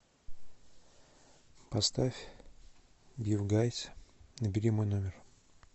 поставь бифгайз набери мой номер